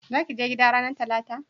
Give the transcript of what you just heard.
za ki je gida ranar talata?